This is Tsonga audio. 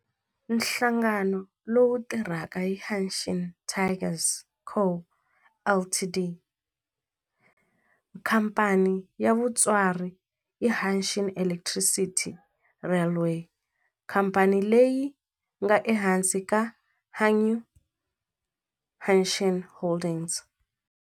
Nhlangano lowu tirhaka i Hanshin Tigers Co., Ltd. Khamphani ya mutswari i Hanshin Electric Railway, khamphani leyi nga ehansi ka Hankyu Hanshin Holdings.